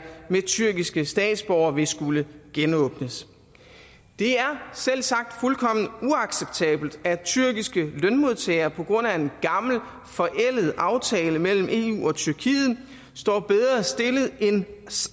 med tyrkiske statsborgere vil skulle genåbnes det er selvsagt fuldkommen uacceptabelt at tyrkiske lønmodtagere på grund af en gammel forældet aftale mellem eu og tyrkiet står bedre stillet end